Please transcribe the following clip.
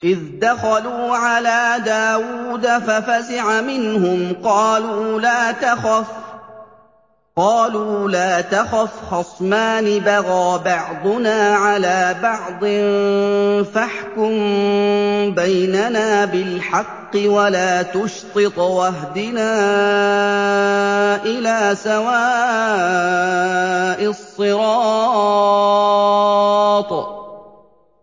إِذْ دَخَلُوا عَلَىٰ دَاوُودَ فَفَزِعَ مِنْهُمْ ۖ قَالُوا لَا تَخَفْ ۖ خَصْمَانِ بَغَىٰ بَعْضُنَا عَلَىٰ بَعْضٍ فَاحْكُم بَيْنَنَا بِالْحَقِّ وَلَا تُشْطِطْ وَاهْدِنَا إِلَىٰ سَوَاءِ الصِّرَاطِ